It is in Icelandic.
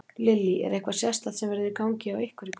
Lillý: Er eitthvað sérstakt sem verður í gangi hjá ykkur í kvöld?